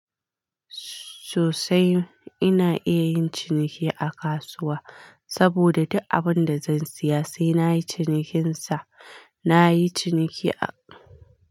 Sosai ina iya yin ciniki a kasuwa saboda duk abun da zan siya sai nayi cinikinsa. Nayi ciniki a.